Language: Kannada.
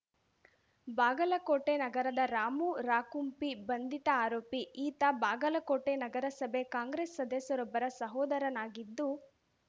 ಬಾಗಲಕೋಟೆ ನಗರದ ರಾಮು ರಾಕುಂಪಿ ಬಂಧಿತ ಆರೋಪಿ ಈತ ಬಾಗಲಕೋಟೆ ನಗರಸಭೆ ಕಾಂಗ್ರೆಸ್‌ ಸದಸ್ಯರೊಬ್ಬರ ಸಹೋದರನಾಗಿದ್ದು